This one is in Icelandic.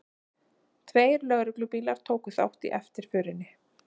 Tveir lögreglubílar tóku þátt í eftirförinni